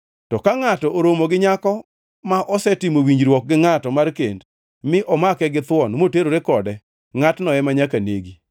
To ka ngʼato oromo gi nyako ma osetimo winjruok gi ngʼato mar kend mi omake githuon moterore kode, ngʼatno ema nyaka negi.